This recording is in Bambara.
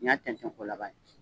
Nin y'a tɛntɛn ko laban ye.